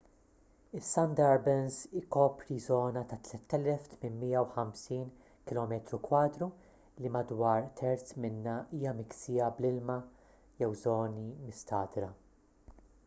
is-sundarbans ikopru żona ta' 3,850 km² li madwar terz minnha hija miksija bl-ilma/żoni mistagħdra